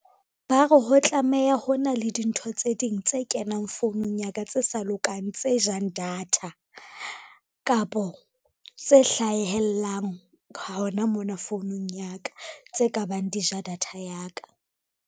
Ba re ho tlameha ho na le dintho tse ding tse kenang founung ya ka tse sa lokang, tse jang data. Kapo tse hlahellang hona mona founung ya ka tse ka bang di ja data ya ka.